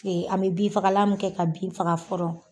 O ye an bɛ bin fagalan kɛ ka bin min faga fɔlɔ.